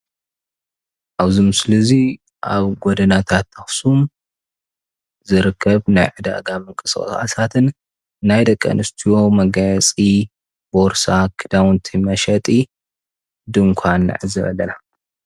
ኣብዚ ምስሊ እዚ ኣብ ጎደናታት ኣክሱም ዝርከብ ናይ ዕዳጋ ምንቅስቃሳትን ናይ ደቂ ኣነስትዮ መጋየፂ ቦርሳ፣ ክዳውንቲ መሸቀጢ ድንኳን ንዕዘብ ኣለና፡፡